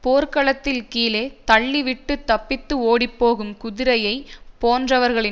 போர்க்களத்தில் கீழே தள்ளி விட்டு தப்பித்து ஓடிப்போகும் குதிரையை போன்றவர்களின்